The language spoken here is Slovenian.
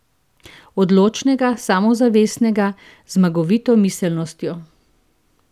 Odločnega, samozavestnega, z zmagovito miselnostjo.